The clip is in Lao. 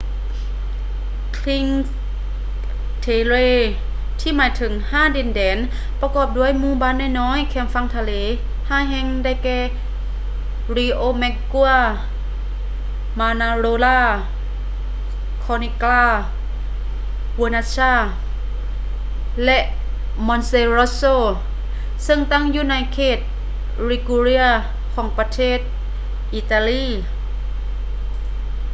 ຊິງຄ໌ ເທເຣ cinque terre ທີ່ໝາຍເຖິງ ຫ້າດິນແດນ ປະກອບດ້ວຍໝູ່ບ້ານນ້ອຍໆແຄມຝັ່ງທະເລ ຫ້າແຫ່ງ ໄດ້ແກ່ ຣິໂອແມັກກົວ riomaggiore ມານາໂຣລາ manarola ຄໍນິກກຼາ corniglia ເວີນັດຊາ vernazza ແລະ ມອນເຕຣັອດໂຊ monterosso ຊຶ່ງຕັ້ງຢູ່ໃນເຂດ ລິກູເຣຍ liguria ຂອງ ປະເທດ ອີຕາລີ